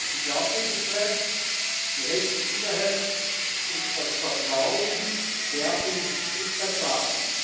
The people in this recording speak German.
Die Glaubwürdigkeit, die Rechtssicherheit und das Vertrauen werden untergraben.